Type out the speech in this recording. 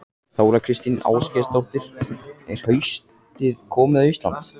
Þóra Kristín Ásgeirsdóttir: Er haustið komið á Íslandi?